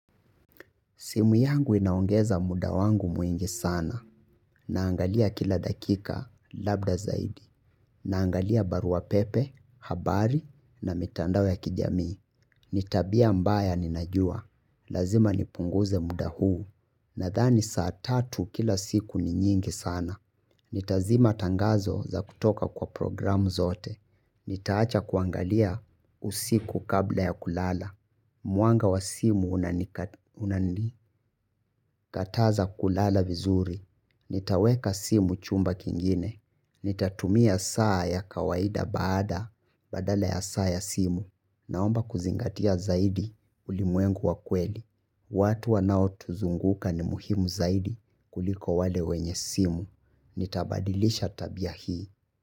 Simu yangu inaongeza muda wangu mwingi sana. Naangalia kila dakika labda zaidi. Naangalia barua pepe, habari na mitandao ya kijamii. Nitabia mbaya ninajua. Lazima nipunguze muda huu. Nadhani saa tatu kila siku ni nyingi sana. Nitazima tangazo za kutoka kwa programu zote. Nitaacha kuangalia usiku kabla ya kulala. Mwanga wa simu unani kataza kulala vizuri. Nitaweka simu chumba kingine. Nitatumia saa ya kawaida baada badala ya saa ya simu. Naomba kuzingatia zaidi ulimwengu wa kweli. Watu wanao tuzunguka ni muhimu zaidi kuliko wale wenye simu. Nitabadilisha tabia hii.